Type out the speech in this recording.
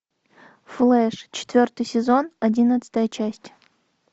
флэш четвертый сезон одиннадцатая часть